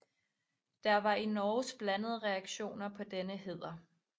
Der var i Norge blandede reaktioner på denne hæder